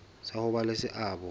sa ho ba le seabo